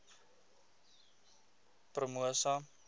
promosa